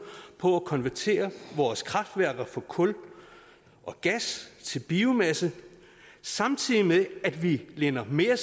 på at konvertere vores kraftværker fra kul og gas til biomasse samtidig med at vi linder mere